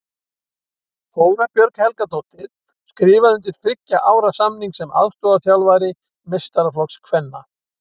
Þóra Björg Helgadóttir skrifaði undir þriggja ára samning sem aðstoðarþjálfari meistaraflokks kvenna.